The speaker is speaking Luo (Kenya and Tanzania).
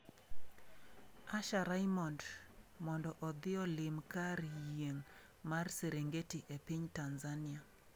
Usher Raymond mondo odhi olim kar yieng' mar Serengeti e piny Tanzania